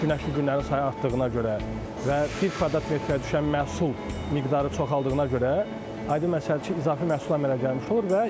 Günəşli günlərin sayı artdığına görə və bir kvadrat metrə düşən məhsul miqdarı çoxaldığına görə, yəni məsəl üçün izafi məhsul əmələ gəlmiş olur.